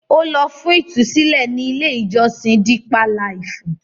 Ó lọ fún ìtúsílẹ̀ ní ilé-ìjọsìn Dípá Laìfù.